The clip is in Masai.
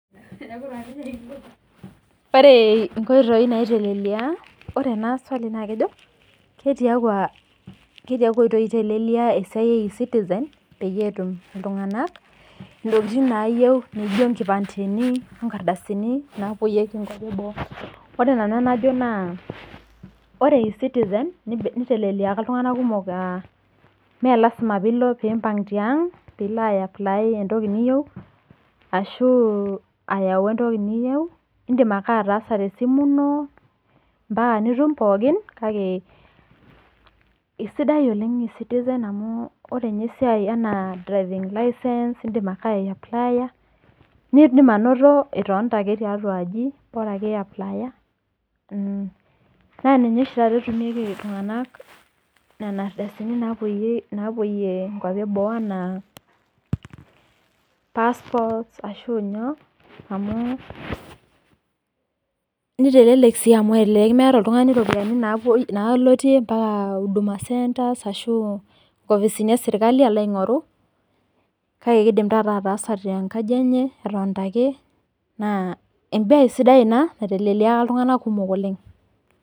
Ore nkoitoi naitelelia ore swali naa kejo ketiakua oitoi etelelia ecitizen pee etum iltung'ana ntokitin naijio nkipandeni oo nkardasini napuoyieki nkwapii eboo ore nanu enajo naa ore ecitizen nitelelikia iltung'ana kumok amu melasima pee empang tiang pee elo apply entoki niyieu ashu ayau enatoki niyieu edim ake ataasa tesimu eno mbaka nitum pookin kake esidai oleng ecitizen amu ore ninye esiai ena driving license edim ake aiapilulaya nidim anoto etonita kae tiatua aji Bora ake ee apulaya naa ninye oshi taata etumi iltung'ana Nena ardasini napuoyie nkwapii ee boo ena passport ashu nyoo amu kitelelek amu elelek metaa oltung'ani ropiani nalotie mbaka huduma center ashu nkopisini ee sirkali aloo aing'oru kake kidim ataasa tenkaji enye etonita ake naa mbae sidai ena nitelelikia iltung'ana kumok oleng